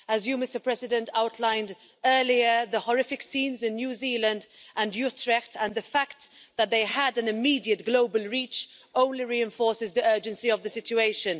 As you, Mr President, outlined earlier, the horrific scenes in New Zealand and Utrecht, and the fact that they had an immediate global reach, only reinforces the urgency of the situation.